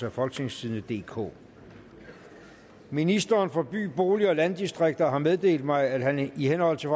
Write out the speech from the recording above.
af folketingstidende DK ministeren for by bolig og landdistrikter har meddelt mig at han ønsker i henhold til